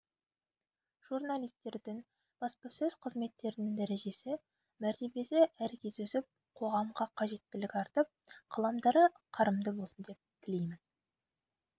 журналистердің баспасөз қызметтерінің дәрежесі мәртебесі әркез өсіп қоғамға қажеттілігі артып қаламдары қарымды болсын деп тілеймін